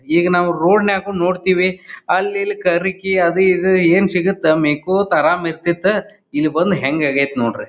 ಈಗ ನಾವು ರೋಡ್ ನಾಗು ನೋಡತ್ತಿವಿ ಅಲ್ಲಿ ಇಲ್ಲಿ ಕರಿಕ್ಕಿ ಅದು ಇದು ಏನ್ ಸಿಗುತೊ ಮೇಯಕೊತ ಆರಾಮ ಇರತ್ತಿತ್ ಇಲ್ಲ ಬಂದ್ ಹೆಂಗ್ ಆಗ್ಯತ್ ನೋಡ್ರಿ.